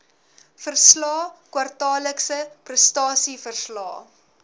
verslae kwartaallikse prestasieverslae